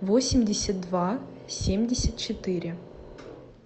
восемьдесят два семьдесят четыре